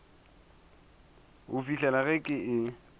go fihlela ge ke e